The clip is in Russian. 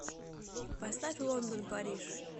поставь лондон париж